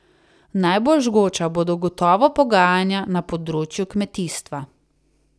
Najbolj žgoča bodo gotovo pogajanja na področju kmetijstva.